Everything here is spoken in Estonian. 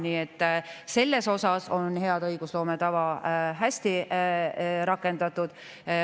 Nii et selles osas on hea õigusloome tava hästi rakendatud.